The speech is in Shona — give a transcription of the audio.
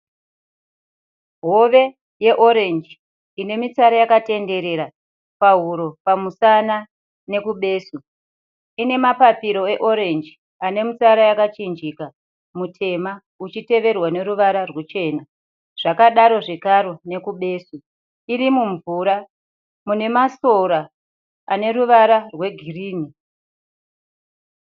Hove yeorenji ine mitsara yakanderera pahuro, pamusana nekubesu. Ine mapapiro eorenji ane mitsara yakachinjika, mutema uchiteverwa neruvara rwuchena. Zvakadaro zvakaro nekubesu. Iri mumvura mune masora ane ruvara rwegirinhi.